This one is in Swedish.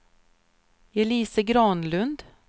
Elise Granlund